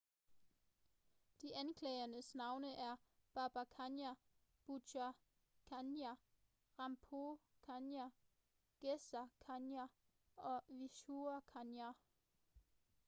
de anklagedes navne er baba kanjar bhutha kanjar rampro kanjar gaza kanjar og vishnu kanjar